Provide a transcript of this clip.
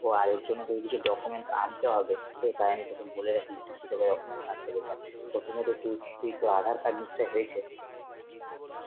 তো আর ওই জন্য তোকে কিছু documents আনতে হবে, তো তাই আমি বলে রাখি যে কি কি তোকে documents আনতে হবে, দেখ প্রথমত তুই~ তুই তোর আধার card নিশ্চয়ই হয়েছে?